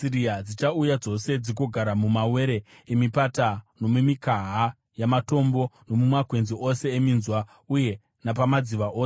Dzichauya dzose dzigogara mumawere emipata nomumikaha yamatombo, nomumakwenzi ose eminzwa uye napamadziva ose.